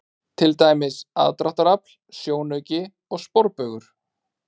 Til dæmis: aðdráttarafl, sjónauki og sporbaugur.